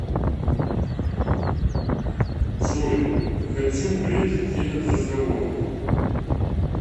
джой хочу претить этот разговор